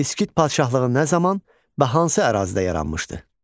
İskit padşahlığı nə zaman və hansı ərazidə yaranmışdı?